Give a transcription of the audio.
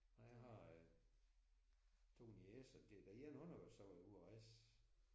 Nej jeg har øh 2 niecer den ene hun har jo så været ude og rejse